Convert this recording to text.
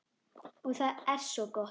Og það er svo gott.